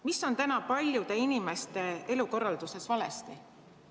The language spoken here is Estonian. Mis on täna paljude inimeste elukorralduses valesti?